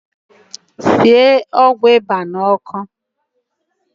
Sie ọgwụ ịba n’ọkụ